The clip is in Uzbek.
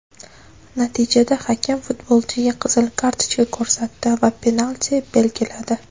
Natijada hakam futbolchiga qizil kartochka ko‘rsatdi va penalti belgiladi.